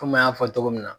Komi an y'a fɔ cogo min na